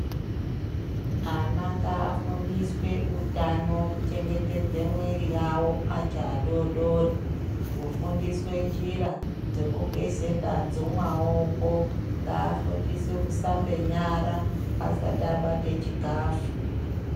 Ana ngafunsiswe utano kuchengetedza mwiri yawo acho adodori kufundiswa njira Dzekutenda zvemaoko ngafundiswe kushambe nyara asati abate chikafu.